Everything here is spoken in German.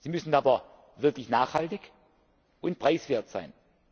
Sie müssen aber wirklich nachhaltig und preiswert sein.